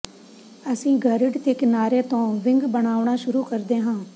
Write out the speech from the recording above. ਅਸੀਂ ਗਰਿੱਡ ਦੇ ਕਿਨਾਰੇ ਤੋਂ ਵਿੰਗ ਬਣਾਉਣਾ ਸ਼ੁਰੂ ਕਰਦੇ ਹਾਂ